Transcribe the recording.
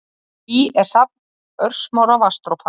Ský er safn örsmárra vatnsdropa.